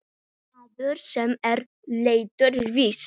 Maður, sem er latur víst.